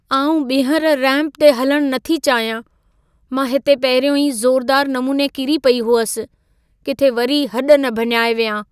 आउं ॿिहर रैंप ते हलणु नथी चाहियां। मां हिते पहिरियों ई ज़ोरुदार नमूने किरी पई हुअसि। किथे वरी हॾ न भञाए वियां।